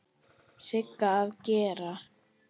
Sigga að gera?